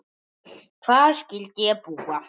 Þar skyldi ég búa.